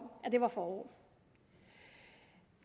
det var forår